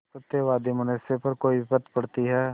सत्यवादी मनुष्य पर कोई विपत्त पड़ती हैं